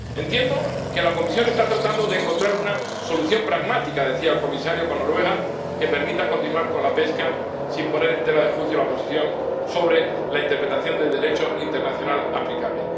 Entiendo que la Comisión está tratando de encontrar una solución pragmática —decía el comisario— con Noruega que permita continuar con la pesca sin poner en tela de juicio la posición sobre la interpretación del Derecho internacional aplicable.